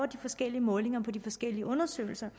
de forskellige målinger i de forskellige undersøgelser